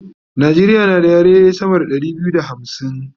Najeriya na da yare sama da Ɗari biyu da hamsin